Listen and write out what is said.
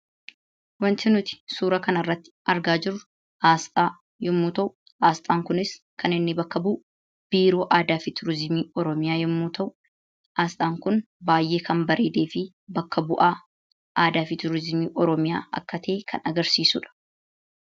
Wanti nuti suuraa kanarratti argaa jirru asxaa yommuu ta'u, asxaan kunis kan inni bakka bu'u, Biiroo Aadaa fi Turizimii Oromiyaa yommuu ta'u, asxaan kun baay'ee kan bareedee fi bakka bu'aa aadaa fi turizimii oromiyaati kan agarsiisudha.